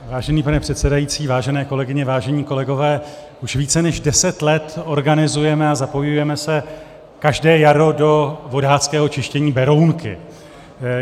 Vážený pane předsedající, vážené kolegyně, vážení kolegové, už více než deset let organizujeme a zapojujeme se každé jaro do vodáckého čištění Berounky.